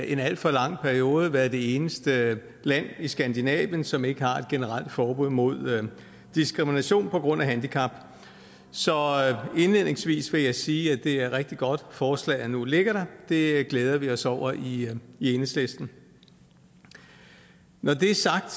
en alt for lang periode været det eneste land i skandinavien som ikke har et generelt forbud mod diskrimination på grund af handicap så indledningsvis vil jeg sige at det er et rigtig godt forslag der nu ligger der det glæder vi os over i enhedslisten når det er sagt